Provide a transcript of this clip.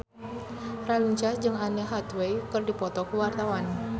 Raline Shah jeung Anne Hathaway keur dipoto ku wartawan